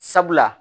Sabula